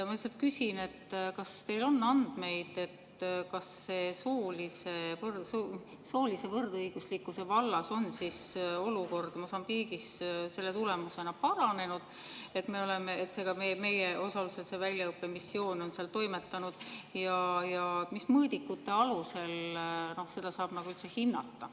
Ma lihtsalt küsin: kas teil on andmeid, kas soolise võrdõiguslikkuse vallas on olukord Mosambiigis selle tulemusena paranenud, et meie osalusel see väljaõppemissioon on seal toimetanud, ja mis mõõdikute alusel seda saab üldse hinnata?